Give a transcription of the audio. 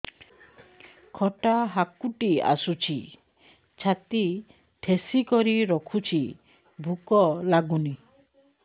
ଖଟା ହାକୁଟି ଆସୁଛି ଛାତି ଠେସିକରି ରଖୁଛି ଭୁକ ଲାଗୁନି